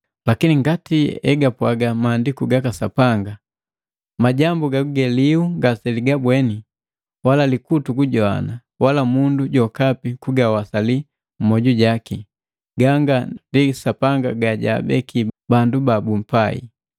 Lakini ngati egapwaga Maandiku gaka Sapanga, “Majambu gaguge lihu ngaseligabweni, wala likutu kugajowana, wala mundu jokapi kugawasali mmwoju jaki, ganga ndi Sapanga gajaabeki bandu babumpai.”